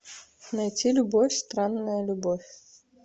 найти любовь странная любовь